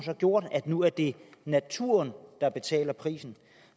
har gjort at nu er det naturen der betaler prisen